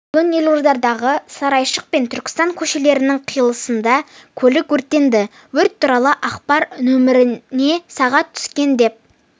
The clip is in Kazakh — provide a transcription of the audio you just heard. бүгін елордадағы сарайшық пен түркістан көшелерінің қиылысында көлік өртенді өрт туралы ақпар нөміріне сағат түскен деп